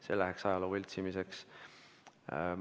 See läheks ajaloo võltsimiseks.